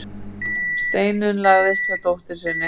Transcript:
Steinunn lagðist hjá dóttur sinni.